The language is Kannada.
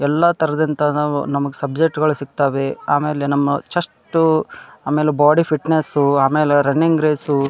ಎಲ್ಲ ತಾರದಂತಹ ನಾವ್ ನಮಗೆ ಸಬ್ಜೆಕ್ಟ್ ಗಳ ಸಿಗ್ತವೆ. ಆಮೇಲೆ ನಮ್ಮ ಚೆಷ್ಟು ಆಮೇಲೆ ಬಾಡಿ ಫಿಟ್ನೆಸ್ ಆಮೇಲೆ ರನ್ನಿಂಗ್ ರೇಸ್ --